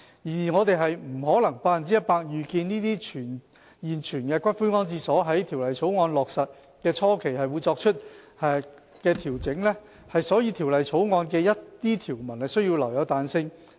然而，我們不可能百分百預見這些現存骨灰安置所在《條例草案》落實的初期會作出的調整，所以《條例草案》的一些條文需要留有彈性。